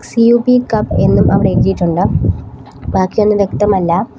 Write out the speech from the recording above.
സി_യു_ബി cub എന്നും അവിടെ എഴുതിയിട്ടുണ്ട് ബാക്കിയൊന്നും വ്യക്തമല്ല.